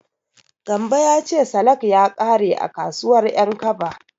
Gambo ya ce salak ya ƙare a kasuwar Ƴankaba.